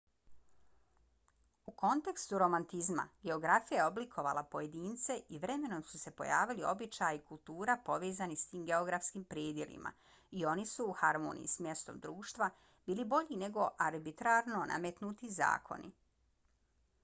u kontekstu romantizma geografija je oblikovala pojedince i vremenom su se pojavili običaji i kultura povezani s tim geografskim predjelima i oni su u harmoniji s mjestom društva bili bolji nego arbitrarno nametnuti zakoni